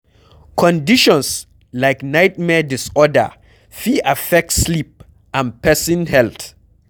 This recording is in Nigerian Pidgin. Conditions like nightmare disorder fit affect sleep and person health